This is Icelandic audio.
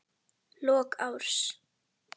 Lok árs.